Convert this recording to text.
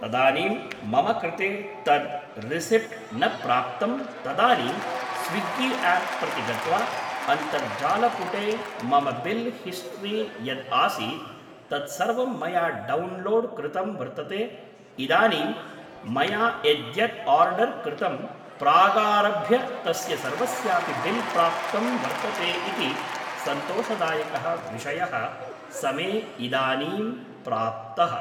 तदानीं मम कृते तद् रिसिप्ट् न प्राप्तं तदानीं स्विग्गि आप् प्रति गत्वा अन्तर्जालपुटे मम बिल् हिस्ट्री यद् आसीत् तद् सर्वं मया डौन्लोड् कृतम् वर्तते इदानीं मया यद्यद् आर्डर् कृतं प्रागारभ्य तस्य सर्वस्यापि बिल् प्राप्तं वर्तते इति सन्तोषदायकः विषयः स मे इदानीं प्राप्तः